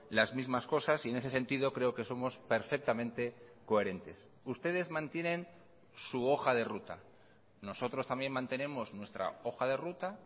las mismas cosas y en ese sentido creo que somos perfectamente coherentes ustedes mantienen su hoja de ruta nosotros también mantenemos nuestra hoja de ruta